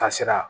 Taasira